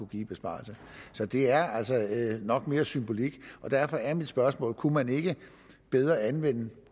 give i besparelser så det er altså nok mere symbolsk og derfor er mit spørgsmål kunne man ikke bedre anvende